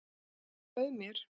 Og bauð mér.